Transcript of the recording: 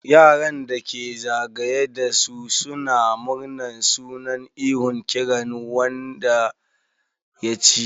Yaran da ke za gaye da su suna murna suna ihon kiran sunan wanda ya ci.